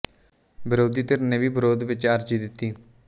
ਵਿਰੋਧੀ ਧਿਰ ਨੇ ਵੀ ਵਿਰੋਧ ਵਿੱਚ ਅਰਜ਼ੀ ਦਿੱਤੀ